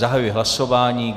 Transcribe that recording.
Zahajuji hlasování.